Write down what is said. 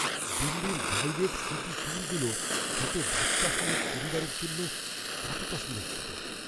দিল্লির guided city ট্যুরগুলো ছোট বাচ্চা সমেত পরিবারের জন্য কতটা সুরক্ষিত?